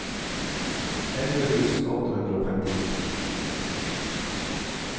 elleve tusen åtte hundre og femtini